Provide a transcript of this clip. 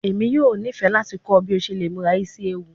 Emi yoo nifẹ lati kọ ọ bi o ṣe le mura isi ewu